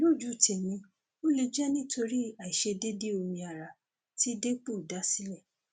lójú tèmi ó lè jẹ nítorí àìṣedéédéé omi ara tí depo dá sílẹ